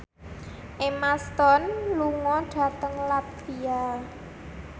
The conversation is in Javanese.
Emma Stone lunga dhateng latvia